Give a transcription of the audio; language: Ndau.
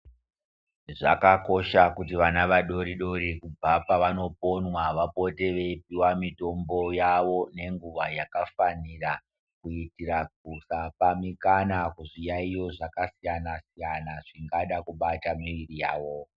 Zvakakosha kuti vana vadori dori kubva pavanoponwa vapote veipuwa mutombo yawo nenguwa yakafanira kuitira kusapa mukana kuzviyaiyo Zvakasiyana siyana zvingada kubata muviri yawo.